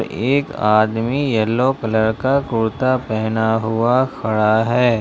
एक आदमी yellow colour का कुर्ता पहना हुआ खड़ा है।